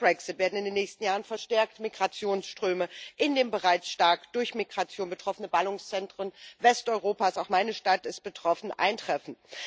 Nach dem Brexit werden in den nächsten Jahren verstärkt Migrationsströme in den bereits stark durch Migration betroffenen Ballungszentren Westeuropas auch meine Stadt ist betroffen eintreffen.